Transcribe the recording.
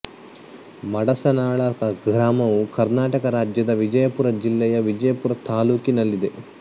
ಮಡಸನಾಳ ಗ್ರಾಮವು ಕರ್ನಾಟಕ ರಾಜ್ಯದ ವಿಜಯಪುರ ಜಿಲ್ಲೆಯ ವಿಜಯಪುರ ತಾಲ್ಲೂಕಿನಲ್ಲಿದೆ